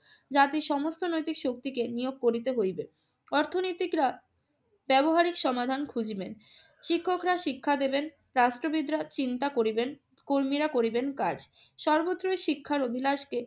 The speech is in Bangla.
জাতির সমস্ত নৈতিক শক্তিকে নিয়োগ করিতে হইবে। অর্থনীতিকরা ব্যবহারিক সমাধান খুঁজিবেন, শিক্ষকরা শিক্ষা দেবেন, রাষ্ট্রবিদরা চিন্তা করিবেন, কর্মীরা করিবেন কাজ। সর্বত্রই শিক্ষার অভিলাষকে